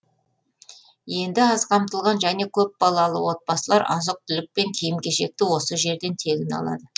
енді аз қамтылған және көпбалалы отбасылар азық түлік пен киім кешекті осы жерден тегін алады